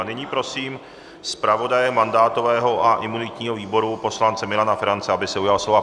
A nyní prosím zpravodaje mandátového a imunitního výboru poslance Milana Ferance, aby se ujal slova.